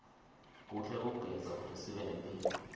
kuhle kugeza kutesibe nemphilo